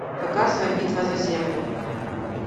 показывай битва за землю